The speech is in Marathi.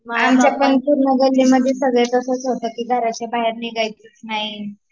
आमच्या पण पूर्ण गल्ली मध्ये सगळं तसंच होता की घरच्या बाहेर निघायचं नाही